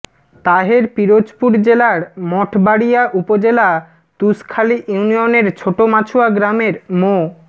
তাহের পিরোজপুর জেলার মঠবাড়িয়া উপজেলা তুষখালী ইউনিয়নের ছোট মাছুয়া গ্রামের মো